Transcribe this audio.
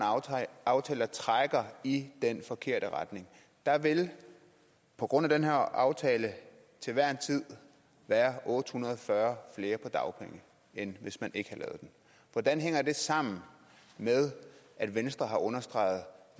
aftale der trækker i den forkerte retning der vil på grund af den her aftale til hver en tid være otte hundrede og fyrre flere på dagpenge end hvis man ikke den hvordan hænger det sammen med at venstre har understreget